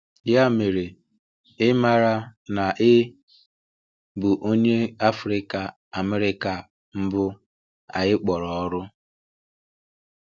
“Ya mere, ị maara na ị bụ Onye Afrịka-Amerịka mbụ anyị kpọrọ ọrụ?”